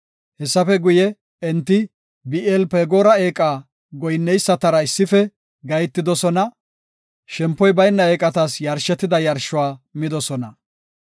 Hessafe guye, enti Bi7eel-Fagoora eeqa goyinneysatara issife gahetidosona; shempoy bayna eeqatas yarshetida yarshuwa midosona.